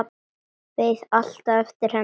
Beið alltaf eftir henni.